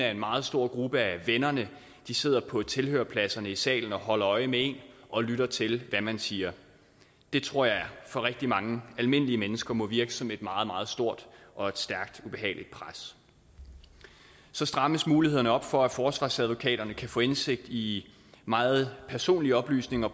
at en meget stor gruppe af vennerne sidder på tilhørerpladserne i salen og holder øje med en og lytter til hvad man siger det tror jeg for rigtig mange almindelige mennesker må virke som et meget meget stort og et stærkt ubehageligt pres så strammes mulighederne op for at forsvarsadvokaterne kan få indsigt i meget personlige oplysninger